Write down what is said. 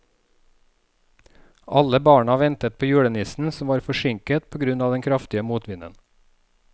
Alle barna ventet på julenissen, som var forsinket på grunn av den kraftige motvinden.